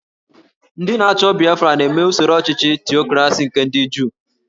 Ndị na-achọ Biafra na-eme usoro ọchịchị Tiokrasi nke ndị Juu